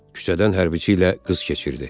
Küçədən hərbiçi ilə qız keçirdi.